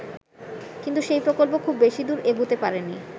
কিন্তু সেই প্রকল্প খুব বেশি দূর এগুতে পারেনি।